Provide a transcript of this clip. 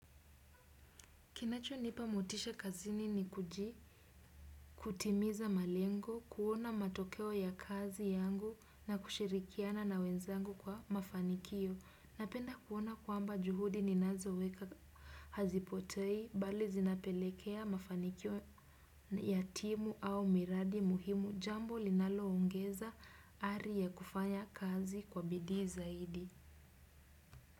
Kinacho nipa motisha kazini ni kutimiza malengo, kuona matokeo ya kazi yangu na kushirikiana na wenzangu kwa mafanikio. Napenda kuona kwamba juhudi ninazoweka hazipotei, bali zinapelekea mafanikio yatimu au miradi muhimu jambo linaloongeza ari ya kufanya kazi kwa bidii zaidi.